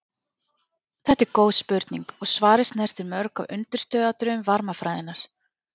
Þetta er góð spurning og svarið snertir mörg af undirstöðuatriðum varmafræðinnar.